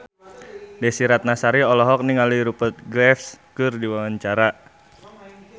Desy Ratnasari olohok ningali Rupert Graves keur diwawancara